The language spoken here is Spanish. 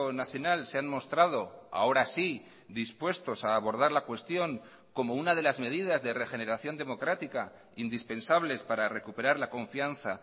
nacional se han mostrado ahora sí dispuestos a abordar la cuestión como una de las medidas de regeneración democrática indispensables para recuperar la confianza